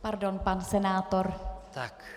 Pardon, pan senátor.